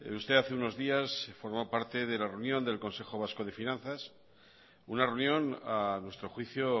usted hace unos días formó parte de la reunión del consejo vasco de finanzas una reunión a nuestro juicio